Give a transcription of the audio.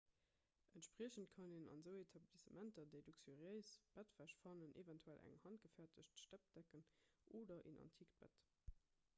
entspriechend kann een an esou etablissementer déi luxuriéist bettwäsch fannen eventuell eng handgefäerdegt steppdecken oder en antikt bett